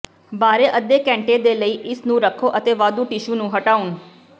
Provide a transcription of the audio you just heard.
ਬਾਰੇ ਅੱਧੇ ਘੰਟੇ ਦੇ ਲਈ ਇਸ ਨੂੰ ਰੱਖੋ ਅਤੇ ਵਾਧੂ ਟਿਸ਼ੂ ਨੂੰ ਹਟਾਉਣ